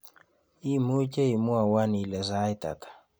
Imuuche imwowon ile sait ata